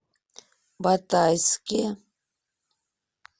батайске